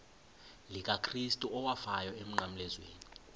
likakrestu owafayo emnqamlezweni